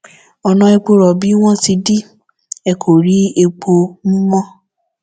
ọnà epo rọbì wọn ti dì í ẹ kò rí epo mú mọ